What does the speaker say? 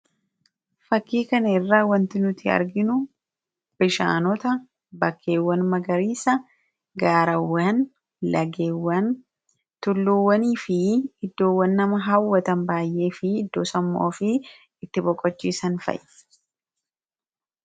fakkiikan irraa wanti nuti arginu bishaanota bakkeewwan magariisa gaarawwan lageewwan tulluuwwanii fi iddoowwan nama hawwatan baay'ee fi iddoosammuu ofii itti boqochiisan fa'a.